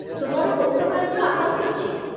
ତୁମର କୋଉ ପ୍ରକାରର ଆକାଉଣ୍ଟ ଅଛି ?